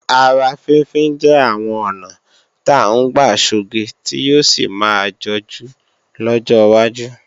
Ara fínfín jẹ́ àwọn ọ̀nà ta ń gbà sọge tí yóò sì máa jọjú lọ́jọ́ wájú